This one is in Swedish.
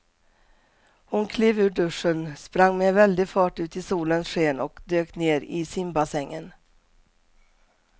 Hon klev ur duschen, sprang med väldig fart ut i solens sken och dök ner i simbassängen.